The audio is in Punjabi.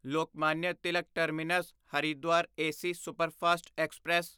Lokmanya Tilak terminus Haridwar AC superfast express